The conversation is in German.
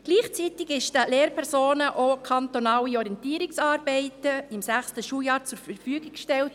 Gleichzeitig wurden den Lehrpersonen kantonale Orientierungsarbeiten für das 6. Schuljahr zur Verfügung gestellt.